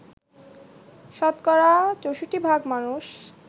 শতকরা ৬৪ ভাগ মানুষ